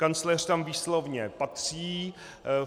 Kancléř tam výslovně patří.